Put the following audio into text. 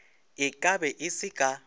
e kabe e se ka